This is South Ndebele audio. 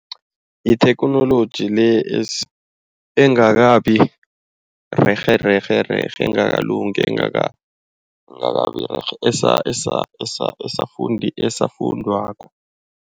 Yitheknoloji le engakabi rerhe rerhe rerhe engakalungi. Engakabi rerhe esafundwako.